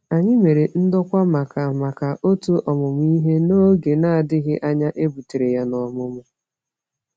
Anyị mere ndokwa maka maka otu ọmụmụ ihe, n’oge na-adịghị anya e butere ya n’ọmụmụ.